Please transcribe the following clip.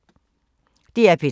DR P3